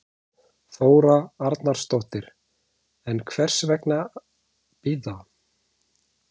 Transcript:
Þóra Arnórsdóttir: En hvers vegna bíða?